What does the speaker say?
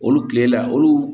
Olu kile la olu